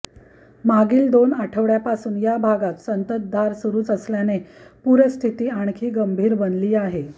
मागील दोन आठवडय़ापासून या भागात संततधार सुरूच असल्याने पूरस्थिती आणखी गंभीर बनली आहे